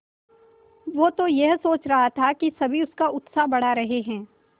वो तो यह सोच रहा था कि सभी उसका उत्साह बढ़ा रहे हैं